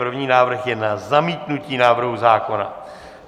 První návrh je na zamítnutí návrhu zákona.